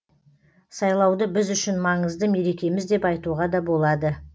сайлауды біз үшін маңызды мерекеміз деп айтуға да болады